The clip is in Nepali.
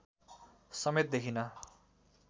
समेत देखिन